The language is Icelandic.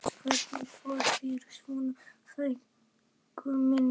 Þú manst hvernig fór fyrir Svönu frænku minni.